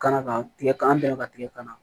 Kana ka tigɛ ka an bɛnka tigɛ ka na